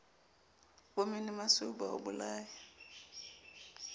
bo menomasweu ba o bolayang